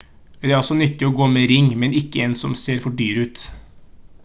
det er også nyttig å gå med ring men ikke en som ser for dyr ut